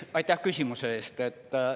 Aitäh küsimuse eest!